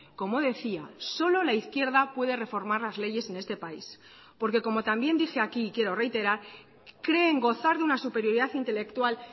como decía solo la izquierda puede reformar las leyes en este país porque como también dije aquí y quiero reiterar creen gozar de una superioridad intelectual